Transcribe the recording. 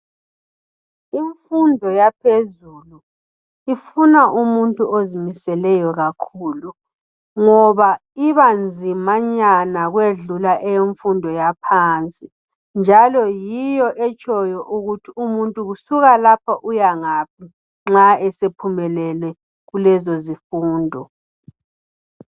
Imfundo yaphezelu ifuna umuntu ozimiseleyo kakhulu ngoba ibanzimanyana ukwedlula eyemfundo yaphansi njalo yiyo etshoyo ukuthi umuntu kusuka lapha uyangaphi nxa esephumelele kulezo zifundo.